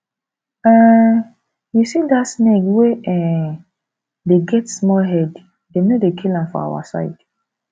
um you see that snake wey um dey get small head dem no dey kill am for our side